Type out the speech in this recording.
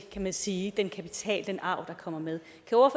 kan man sige den kapital den arv der kommer med